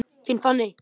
Þín, Fanney.